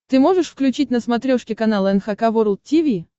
ты можешь включить на смотрешке канал эн эйч кей волд ти ви